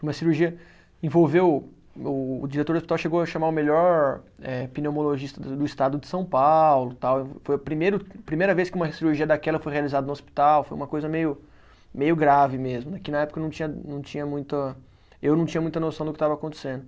Uma cirurgia envolveu, o o diretor do hospital chegou a chamar o melhor eh, pneumologista do do estado de São Paulo tal, foi primeiro, a primeira vez que uma cirurgia daquela foi realizada no hospital, foi uma coisa meio meio grave mesmo né, que na época não tinha, não tinha muita, eu não tinha muita noção do que estava acontecendo.